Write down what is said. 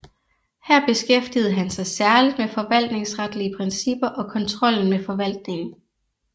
Her beskæftigede han sig særligt med forvaltningsretlige principper og kontrollen med forvaltningen